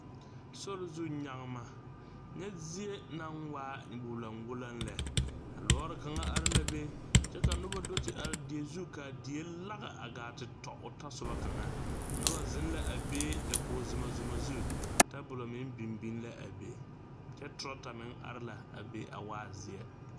Sorizu nyagema, nyɛ zie naŋ waa guloŋ guloŋ lɛ a lɔɔre kaŋa are la be kyɛ ka noba a do te are die zu kaa die lage a gaa te tɔ o soba kaŋa noba zeŋ la a be dakogi Zuma Zuma zu tabolɔ meŋ biŋ biŋ la a be kyɛ trotor meŋ biŋ la a be a waa zeɛ.